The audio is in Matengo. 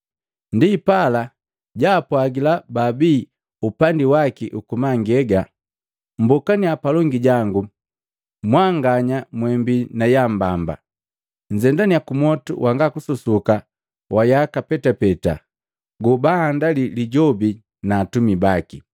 “Ndipala jaapwagila bababi upandi waki ukumangega, ‘Mmbokaniya palongi jangu mwanganya mwembiii na yambamba! Nnzendananiya kumwotu wanga kususuka wa yaka petapeta go baandali Lijobi na atumi baki.